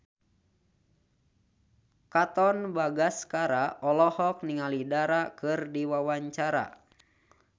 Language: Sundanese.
Katon Bagaskara olohok ningali Dara keur diwawancara